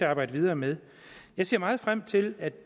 arbejde videre med jeg ser meget frem til at